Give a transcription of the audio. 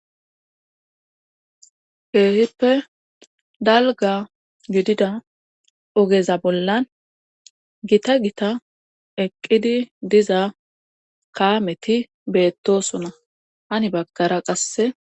heehippe dalga yudida ogeza bollan gita gita eqqidi diza kaameti beettosona hani bakara qasse